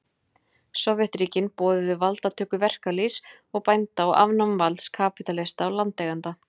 Sovétríkin boðuðu valdatöku verkalýðs og bænda og afnám valds kapítalista og landeigenda.